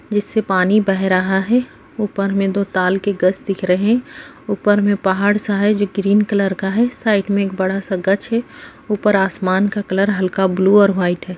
जिससे पानी बह रहा हैं ऊपर मे दो ताल के गछ दिख रहे हैं ऊपर में पहाड़-सा है जो ग्रीन कलर का है साइड में एक बड़ा-सा गछ है ऊपर आसमान का कलर हल्का ब्लू और वाइट है।